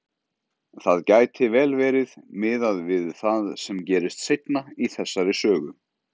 Það gæti vel verið, miðað við það sem gerist seinna í þessari sögu.